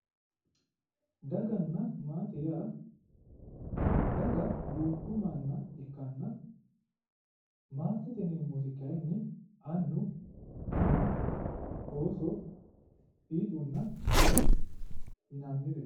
Daganna maate yaa daga duucha manna ikkanna maatete yineemmoti kayinni anna ama ooso fiixunna gare yinannireeti.